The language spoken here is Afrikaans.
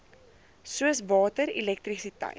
soos water elektrisiteit